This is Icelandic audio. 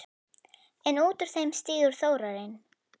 En út úr þeim stígur Þórarinn.